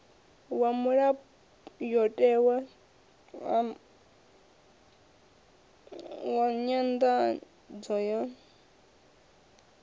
wa mulayotewa wa nyanḓadzo ya